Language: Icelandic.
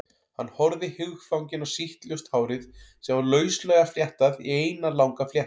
Hann horfði hugfanginn á sítt, ljóst hárið sem var lauslega fléttað í eina langa fléttu.